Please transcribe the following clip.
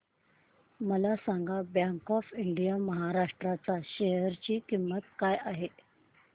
मला सांगा bank of Maharashtra च्या शेअर ची किंमत काय आहे